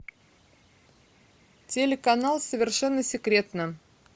телеканал совершенно секретно